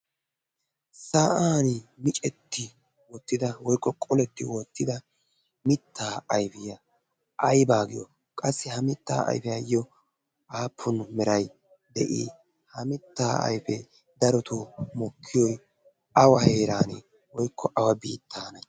sa7an micetti woottida woikko qoletti woottida mittaa aifiyaa aibaa giyo? qassi ha mittaa aifiyaayyo aappun merai de7i ha mittaa aifee daroto mokkiyoi awa heeran woikko awa biittaane?